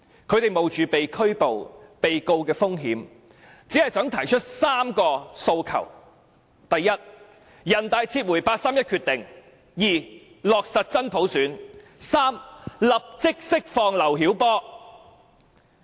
他們冒着被拘捕和被控告的風險，只想提出3個訴求：第一，請人大撤回八三一決定；第二，落實真普選；第三，立即釋放劉曉波。